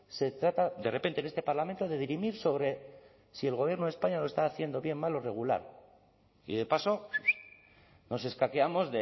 se trata de repente en este parlamento de dirimir sobre si el gobierno de españa lo está haciendo bien mal o regular y de paso nos escaqueamos